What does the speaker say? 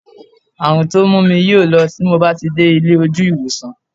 Àrùn tó mú mi yóò lọ tí mo bá ti dé ilé ojú ìwòsàn